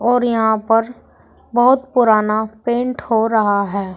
और यहां पर बहुत पुराना पेंट हो रहा है।